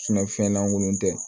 fɛn langolon tɛ